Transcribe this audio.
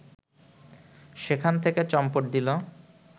সেখান থেকে চম্পট দিল